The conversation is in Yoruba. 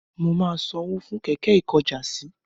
Mo ma san owó fún kẹ̀kẹ́ ikojásí